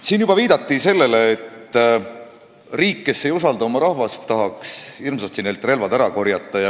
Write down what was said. Siin juba viidati sellele, et riik, kes ei usalda oma rahvast, tahaks hirmsasti inimestelt relvad ära korjata.